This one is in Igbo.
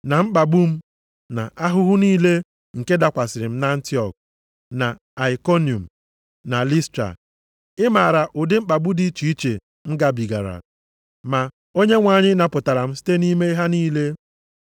na mkpagbu m na ahụhụ niile nke dakwasịrị m nʼAntiọk, na Aikoniọm, na Listra. Ị maara ụdị mkpagbu dị iche iche m gabigara. Ma Onyenwe anyị napụtara m site nʼime ha niile.